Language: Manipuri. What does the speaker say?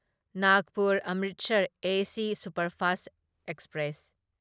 Nagpur Amritsar S superfast express